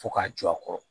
Fo k'a jɔ a kɔrɔ